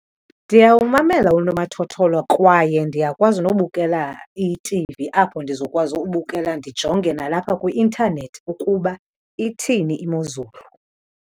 Ndiyawumamela unomathotholo kwaye ndiyakwazi nobukela i-T_V apho ndizokwazi ubukela ndijonge nalapha kwi-internet ukuba ithini imozulu.